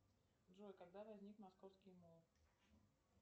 джой когда возник московский мул